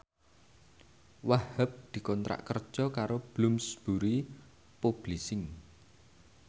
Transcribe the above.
Wahhab dikontrak kerja karo Bloomsbury Publishing